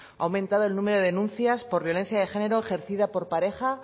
ha aumentado el número de denuncias por violencia de género ejercidas por pareja